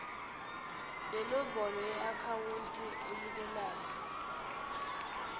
nenombolo yeakhawunti emukelayo